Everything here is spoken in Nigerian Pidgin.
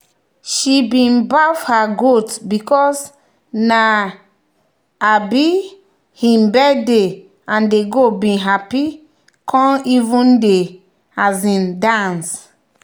she bin baff her goat because na um him birthday and the goat bin happy e come even dey um dance.